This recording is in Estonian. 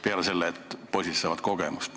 Peale selle saavad poisid muidugi kogemusi.